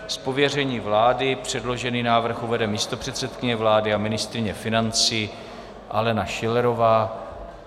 Z pověření vlády předložený návrh uvede místopředsedkyně vlády a ministryně financí Alena Schillerová.